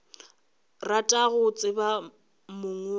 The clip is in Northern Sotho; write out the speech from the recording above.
rata go tseba mong wa